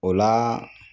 O la